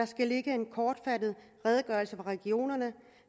skal ligge en kortfattet redegørelse fra regionerne